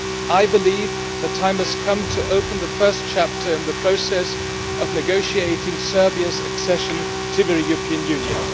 I believe the time has come to open the first chapter in the process of negotiating Serbia's accession to the European Union.